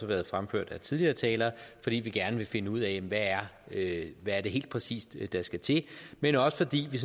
været fremført af tidligere talere fordi vi gerne vil finde ud af af hvad det helt præcis er der skal til men også fordi vi